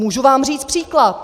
Můžu vám říci příklad.